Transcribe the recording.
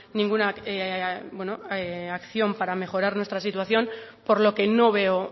ninguna acción para mejorar nuestra situación por lo que no veo